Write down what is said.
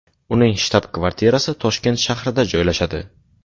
Uning shtab-kvartirasi Toshkent shahrida joylashadi.